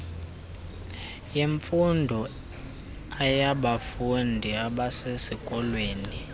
yemfundo aybafundi abasesikolweni